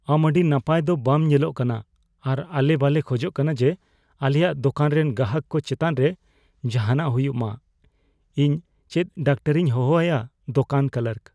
ᱟᱢ ᱟᱹᱰᱤ ᱱᱟᱯᱟᱭ ᱫᱚ ᱵᱟᱢ ᱧᱮᱞᱚᱜ ᱠᱟᱱᱟ ᱟᱨ ᱟᱞᱮ ᱵᱟᱞᱮ ᱠᱷᱚᱡᱚᱜ ᱠᱟᱱᱟ ᱡᱮ ᱟᱞᱮᱭᱟᱜ ᱫᱳᱠᱟᱱ ᱨᱮᱱ ᱜᱟᱦᱟᱠ ᱠᱚ ᱪᱮᱛᱟᱱ ᱨᱮ ᱡᱟᱦᱟᱱᱟᱜ ᱦᱩᱭᱩᱜ ᱢᱟ, ᱤᱧ ᱪᱮᱫ ᱰᱟᱠᱛᱚᱨᱤᱧ ᱦᱚᱦᱚ ᱟᱭᱟ ? (ᱫᱳᱠᱟᱱ ᱠᱞᱟᱨᱠ)